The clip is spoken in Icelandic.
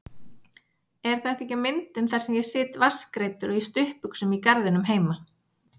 Er þetta ekki myndin þar sem ég sit vatnsgreiddur og í stuttbuxum í garðinum heima?